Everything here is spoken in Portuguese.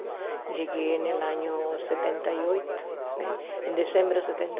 Cheguei no ano setenta e oito né, em dezembro de setenta